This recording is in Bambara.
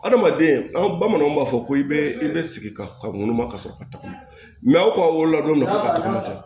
Adamaden an ka bamananw b'a fɔ ko i bɛ i bɛ sigi ka ka ŋunu ka sɔrɔ ka tɔgɔ aw ka wolo la don dɔ ka tɔgɔ ka ca